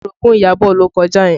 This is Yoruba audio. Orogun Iyabọ̀ ló kọjá yẹn